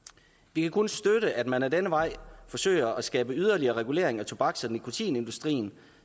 vi kan kun støtte at man ad denne vej forsøger at skabe yderligere regulering af tobaks og nikotinindustrien